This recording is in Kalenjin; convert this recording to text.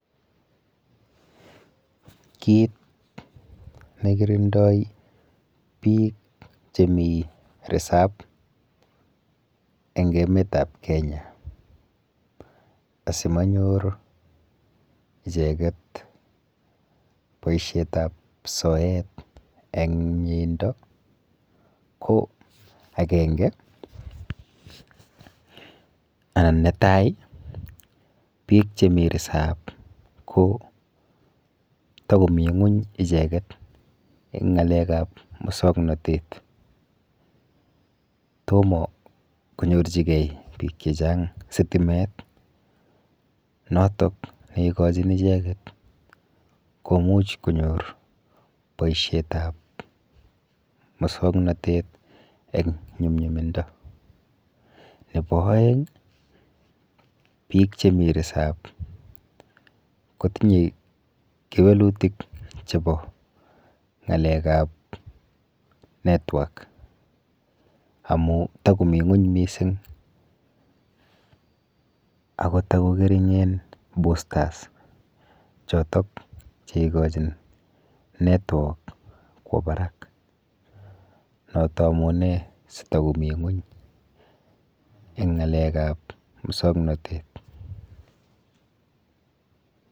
Kit nekirindoi biik chemi risap eng emetap Kenya asimanyor icheket boishetap soet eng mieindo ko akenge anan netai biik chemi risap ko takomi ng'uny icheket eng ng'alekap musoknotet. Tomo konyorchigei biik chechang sitimet notok neikochin icheket komuch konyor boishetap musoknotet eng nyumnyumindo. Nepo oeng biik chemi risap kotinye kewelutik chepo ng'alekap network amu takomi ng'uny mising ako takong'ering'en boosters chotok cheikochin network kwo barak. Noto amune sitakomi ng'uny eng ng'alekap musoknotet.